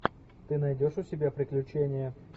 ты найдешь у себя приключения